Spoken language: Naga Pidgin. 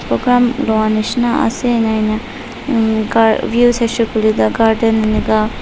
program lua nisna ase na views ase koile tu garden ening ka--